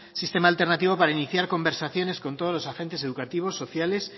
sistema alternativo para iniciar conversaciones con todos los agentes educativos sociales